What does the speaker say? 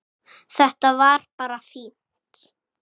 Þetta var bara fínt.